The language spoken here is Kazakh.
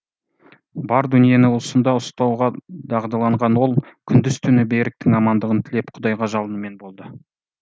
бар дүниені уысында ұстауға дағдыланған ол күндіз түні беріктің амандығын тілеп құдайға жалынумен болды